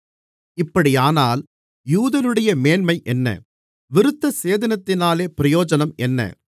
இப்படியானால் யூதனுடைய மேன்மை என்ன விருத்தசேதனத்தினாலே பிரயோஜனம் என்ன